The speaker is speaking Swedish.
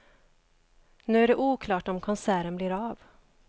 Nu är det oklart om konserten blir av.